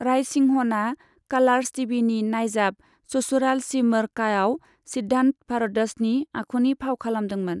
रायसिंहनआ कालार्स टिभिनि नाइजाब ससुराल सिमर काआव सिद्धान्त भरद्वाजनि आखुनि फाव खालामदोंमोन।